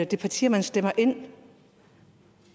de partier man stemmer ind